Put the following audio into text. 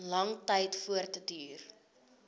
lang tyd voortduur